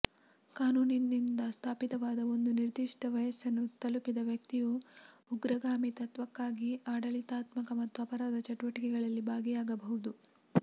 ಕಾನೂನಿನಿಂದ ಸ್ಥಾಪಿತವಾದ ಒಂದು ನಿರ್ದಿಷ್ಟ ವಯಸ್ಸನ್ನು ತಲುಪಿದ ವ್ಯಕ್ತಿಯು ಉಗ್ರಗಾಮಿತ್ವಕ್ಕಾಗಿ ಆಡಳಿತಾತ್ಮಕ ಮತ್ತು ಅಪರಾಧ ಚಟುವಟಿಕೆಗಳಲ್ಲಿ ಭಾಗಿಯಾಗಬಹುದು